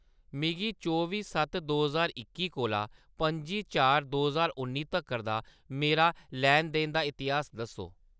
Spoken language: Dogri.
मिगी चौबी सत्त दो ज्हार इक्की कोला पं'जी चार दो ज्हार उन्नी तक्कर दा मेरा लैन-देन दा इतिहास दस्सो।